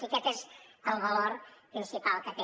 i aquest és el valor principal que té